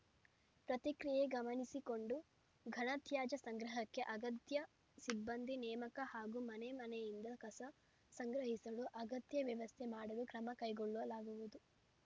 ಪ್ರತಿಕ್ರಿಯೆ ಗಮನಿಸಿಕೊಂಡು ಘನ ತ್ಯಾಜ್ಯ ಸಂಗ್ರಹಕ್ಕೆ ಅಗತ್ಯ ಸಿಬ್ಬಂದಿ ನೇಮಕ ಹಾಗೂ ಮನೆಮನೆಯಿಂದ ಕಸ ಸಂಗ್ರಹಿಸಲು ಅಗತ್ಯ ವ್ಯವಸ್ಥೆ ಮಾಡಲು ಕ್ರಮ ಕೈಗೊಳ್ಳಲಾಗುವುದು